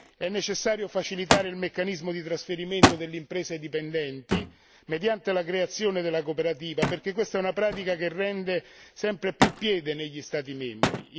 È necessario facilitare il meccanismo di trasferimento delle imprese dipendenti, mediante la creazione della cooperativa perché questa è una pratica che prende sempre più piede negli Stati membri.